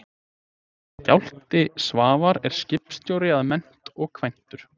Skafti Svavar er skipstjóri að mennt og kvæntur